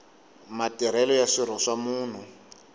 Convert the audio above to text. matirhelo ya swirho swa munhu